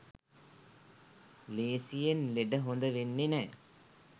ලේසියෙන් ලෙඩ හොඳ වෙන්නෙ නෑ